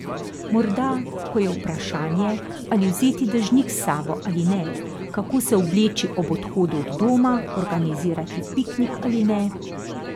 Morda, ko je vprašanje, ali vzeti dežnik s sabo ali ne, kako se obleči ob odhodu od doma, organizirati piknik ali ne...